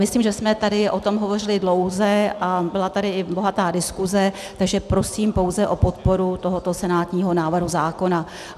Myslím, že jsme tady o tom hovořili dlouze a byla tady i bohatá diskuze, takže prosím pouze o podporu tohoto senátního návrhu zákona.